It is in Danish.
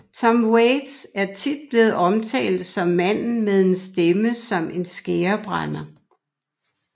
Tom Waits er tit blevet omtalt som manden med en stemme som en skærebrænder